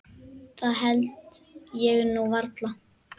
Það held ég nú varla.